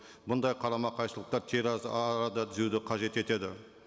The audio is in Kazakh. бұндай қарама қайшылықтар арада түзеуді қажет етеді